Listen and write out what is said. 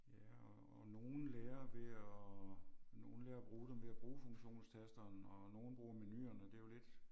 Ja og og nogle lærer ved at nogle lærer at bruge dem ved at bruge funktionstasterne og nogle bruger menuerne det er jo lidt